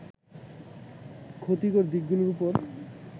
ক্ষতিকর দিকগুলোর ওপর